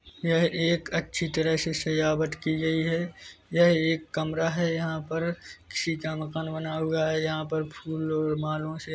यह एक अच्छी तरह से सजावट की गई है यह एक कमरा है यहाँ पर किसी का मकान बना हुआ है यहाँ पर फूल और मालों से--